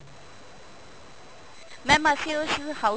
mam ਅਸੀਂ ਉਸ house